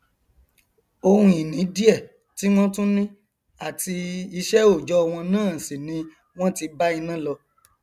oun ìní díẹ tí wọn tún ni àti iṣẹòòjọ wọn náà sì ni wọn ti bá iná lọ